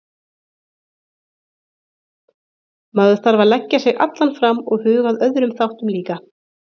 Maður þarf að leggja sig allan fram og huga að öðrum þáttum líka.